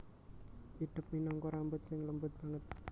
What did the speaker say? Idep minangka rambut sing lembut banget